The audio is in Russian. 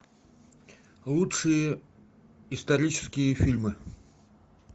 лучшие исторические фильмы